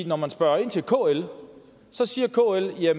når man spørger kl siger kl at